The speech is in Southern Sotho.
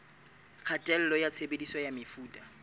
kgatello ya tshebediso ya mefuta